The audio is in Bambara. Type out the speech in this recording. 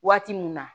Waati mun na